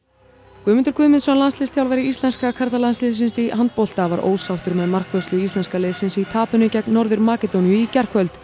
Guðmundur Guðmundsson landsliðsþjálfari íslenska karlalandsliðsins í handbolta var óánægður með markvörslu íslenska liðsins í tapinu gegn Norður Makedóníu í gærkvöld